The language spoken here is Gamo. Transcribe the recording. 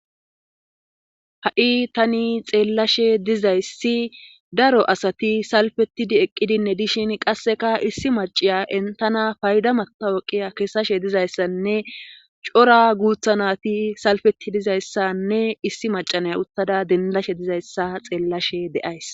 Ha,i tani xeellashe dizayssi daro asati salfetid eqqidinne dishin qasseka issi maciya entana payda mattawoqiya kesashe dizayssanne cora guutha nati salfeti dizayssanne issi macanay uttada dendashe dizayssa xeellashe de7ays